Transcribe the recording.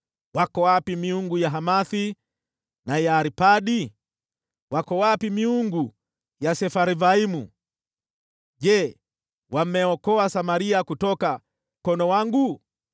Iko wapi miungu ya Hamathi na ya Arpadi? Iko wapi miungu ya Sefarvaimu? Je, imeokoa Samaria kutoka mkononi mwangu?